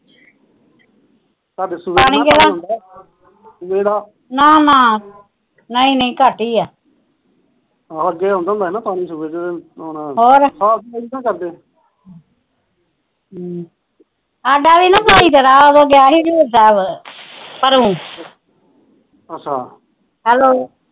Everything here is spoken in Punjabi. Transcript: ਸਾਡਾ ਵੀ ਨਾ ਟੂਬਲ ਖਰਾਬ ਹੋ ਗਿਆ ਪਰੂ ਅੱਛਾ